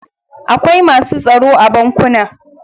Akwai masu tsaro a bankuna.